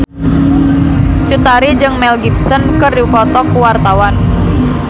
Cut Tari jeung Mel Gibson keur dipoto ku wartawan